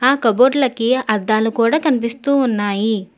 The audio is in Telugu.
ఆ కబోర్డ్ లకి అద్దాలు కూడా కనిపిస్తూ ఉన్నాయి.